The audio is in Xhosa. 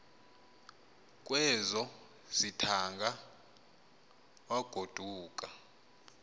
kwezo zithaanga wagoduka